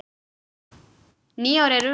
Nýár er runnið!